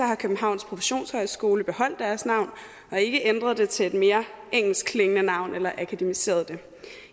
har københavns professionshøjskole beholdt deres navn og ikke ændret det til et mere engelskklingende navn eller akademiseret det